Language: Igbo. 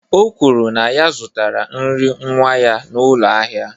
O kwuru na ya zụtara nri nwa ya n'ụlọ ahịa